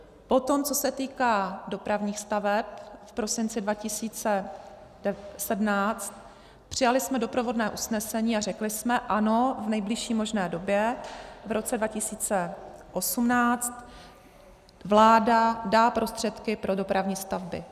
Potom, co se týká dopravních staveb, v prosinci 2017, přijali jsme doprovodné usnesení a řekli jsme ano, v nejbližší možné době, v roce 2018, vláda dá prostředky pro dopravní stavby.